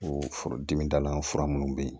O foro dimi dalan fura minnu bɛ yen